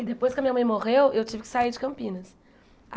E depois que a minha mãe morreu, eu tive que sair de Campinas.